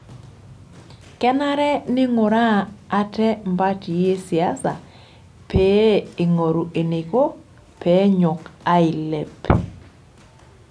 Kenare neing'uraa ate mpatii e siasa pee eingoru eneiko pee enyok ailep.